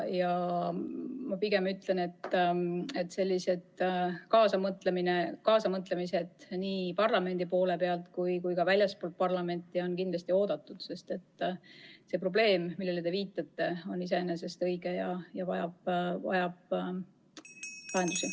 Ja ma pigem ütlen, et kaasamõtlemine nii parlamendis kui ka väljaspool parlamenti on kindlasti oodatud, sest see probleem, millele te viitate, on olemas ja vajab lahendamist.